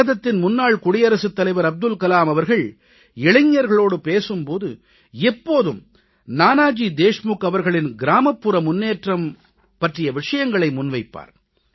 பாரதத்தின் முன்னாள் குடியரசுத் தலைவர் அப்துல் கலாம் அவர்கள் இளைஞர்களோடு பேசும் போது எப்போதும் நானாஜி தேஷ்முக் அவர்களின் கிராமப்புற முன்னேற்றம் பற்றிய விஷயங்களை முன்வைப்பார்